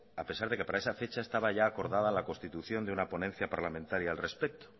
a pesar que para esa fecha estaba ya acordada la constitución de una ponencia parlamentaria al respecto